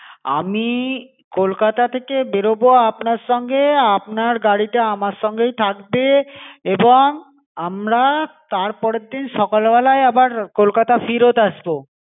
আমি কলকাতা থেকে বেরোবো আপনার সঙ্গে আপনার গাড়িটা আমার সঙ্গেই থাকবে এবং আমরা তার পরেরদিন সকালবেলায় আবার কলকাতা ফিরত আসবো.